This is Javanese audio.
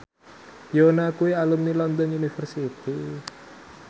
Yoona kuwi alumni London University